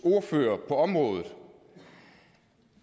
ordfører på området